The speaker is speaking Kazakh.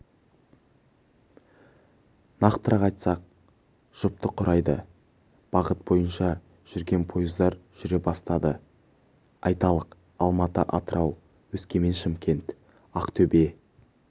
нақтырақ айтсақ жұпты құрайды бағыт бойынша жүрген пойыздар жүре бастады айталық алматы атырау өскемен шымкент ақтөбе